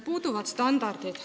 Puuduvad standardid.